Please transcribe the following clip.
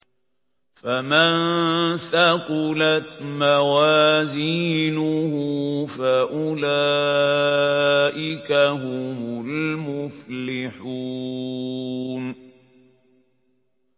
فَمَن ثَقُلَتْ مَوَازِينُهُ فَأُولَٰئِكَ هُمُ الْمُفْلِحُونَ